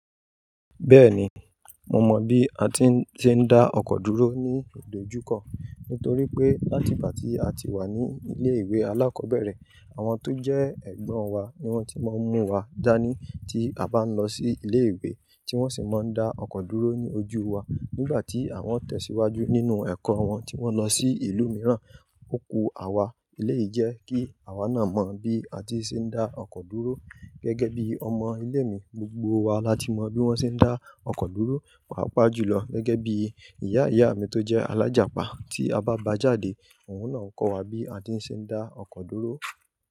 Bẹ́ẹ̀ni, mo mọ bí a ti ń ṣe ńdá ọkọ̀ dúró ní ìdojúkọ, nítorí pé láti ìgbà tí a ti wà ní ilé ìwé alákọ̀ọ́bẹ̀rẹ̀, àwọn tó jẹ́ ẹ̀gbọ́n wa ni wọ́n ti máa ń mú wa dání tí a bá ń lọ sí ilé ìwé, tí wọ́n sì máa ń dá ọkọ̀ dúró ní ojú wa nígbà tí àwọn tẹ̀síwájú nínú ẹ̀kọ́ wọn tí wọ́n lọ sí ìlú mìíràn. Ó ku àwa eléèyí jẹ́ kí àwa náà mọ bí a ti ń ṣe ńdá ọkọ̀ dúró. Gẹ́gẹ́ bí ọmọ ilé mi gbogbo wa la ti mọ bí wọ́n ṣe ń dá ọkọ̀ dúró. Pàápàá jù lọ, gẹ́gẹ́ bí ìyá ìyá mi tó jẹ́ alájàpá, tí a bá ba jáde, òun náà kọ́ wa bí a ti ń ṣe ńdá ọkọ̀ dúró.